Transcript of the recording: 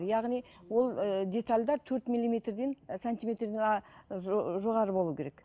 яғни ол ы детальдер төрт миллиметрден сантиметрден а жоғары болуы керек